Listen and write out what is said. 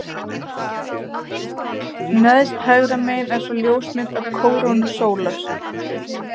Neðst hægra megin er svo ljósmynd af kórónu sólar.